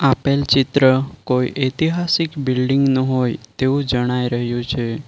આપેલ ચિત્ર કોઈ ઐતિહાસિક બિલ્ડીંગ નું હોય તેવું જણાઈ રહ્યું છે.